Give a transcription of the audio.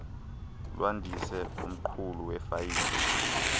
lwandise umqulu wefayile